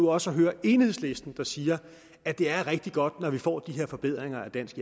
nu også at høre enhedslisten sige at det er rigtig godt når vi får de her forbedringer af dansk